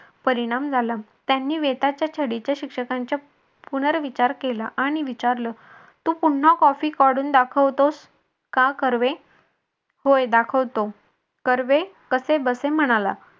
परिणाम झाला त्यांनी वेताच्या छडीचे शिक्षकांच्या पुनर्विचार केला आणि विचारलं तू पुन्हा copy काढून दाखवतोस का कर्वे? होय दाखवतो. कर्वे कसे बसे म्हणाला.